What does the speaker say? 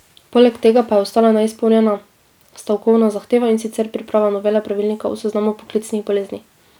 Poleg tega pa je ostala neizpolnjena stavkovna zahteva, in sicer priprava novele pravilnika o seznamu poklicnih bolezni.